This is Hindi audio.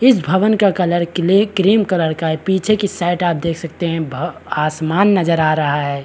इस भवन का कलर क्ले क्रीम कलर का है पीछे की साइड आप देख सकते है भ आसमान नज़र आ रहा है